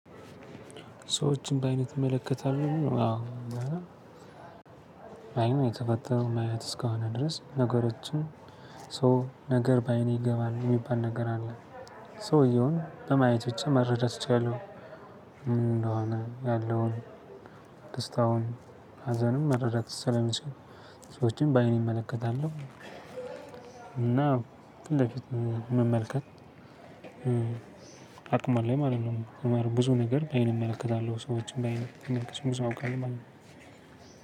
ሰዎችን በአይነት እመለከታለሁ። አዎ አይን የተፈጠረው ማየት እስካሁን ድረስ ነገሮችን ሶ ነገር በአይኔ ይገባል የሚባል ነገር አለ። ሰውየውን በማየት ብቻ መረዳት እችላለሁ። እንደሆነ ያለውን ደስታውን ሀዘንን መረዳት ስለሚሰሩ ሰዎችን በአይን እመለከታለሁ። እና ግን ለፊት መመልከት አቅም አለኝ ማለት ነው። ብዙ ነገር ባይን እመለከታለሁ ሰዎችን ባይን ማመለከት ብዙ አውቃለው ማለት ነው።